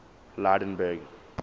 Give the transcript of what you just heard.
lydenburg